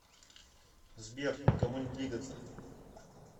сбер никому не двигаться